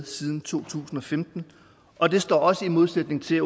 siden to tusind og femten og det står også i modsætning til